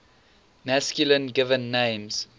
masculine given names